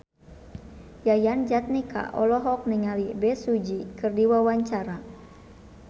Yayan Jatnika olohok ningali Bae Su Ji keur diwawancara